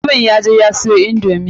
Mutumin ya je ya siyo indomi.